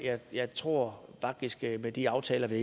jeg tror faktisk at vi med de aftaler der